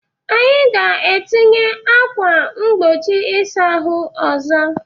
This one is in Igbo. Anyị ga-etinye ákwà mgbochi ịsa ahụ ọzọ.